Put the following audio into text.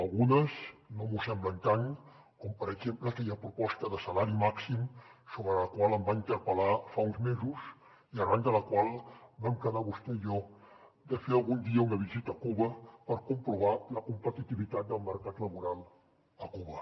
algunes no m’ho semblen tant com per exemple aquella proposta de salari màxim sobre la qual em va interpel·lar fa uns mesos i arran de la qual vam quedar vostè i jo de fer algun dia una visita a cuba per comprovar la competitivitat del mercat laboral a cuba